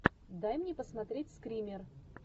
дай мне посмотреть скример